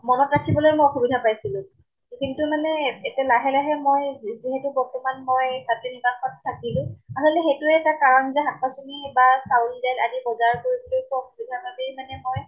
মনত ৰাখিবলৈ মই অসুবিধা পাইছিলো। কিন্তু মানে এতিয়া লাহে লাহে মই যিহেতু বৰ্তমান মই ছাত্ৰী নিৱাসত থাকিলো, সেইটোয়ে এটা কাৰণ যে শাক পাচলী বা চাউল দাইল আদিৰ বজাৰ কৰিবলৈ পৱা অসুবিধাৰ বাবেই মানে মই